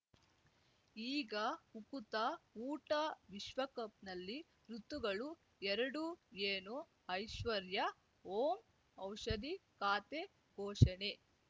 ಈಗ ಉಕುತ ಊಟ ವಿಶ್ವಕಪ್‌ನಲ್ಲಿ ಋತುಗಳು ಎರಡು ಏನು ಐಶ್ವರ್ಯಾ ಓಂ ಔಷಧಿ ಖಾತೆ ಘೋಷಣೆ